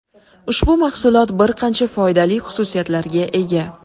Ushbu mahsulot bir qancha foydali xususiyatlarga ega.